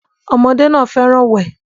Ọmọdé náà fẹ́ràn wẹ̀